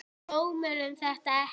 Sá dómarinn þetta ekki?